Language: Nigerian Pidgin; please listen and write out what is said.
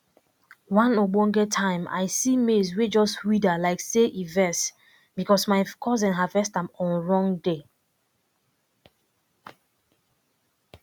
one ogbonge time i see maize wey just wither like say e vex because my cousin harvest am on wrong day